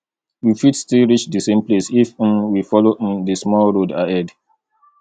we fit still reach di same place if um we follow um di small road ahead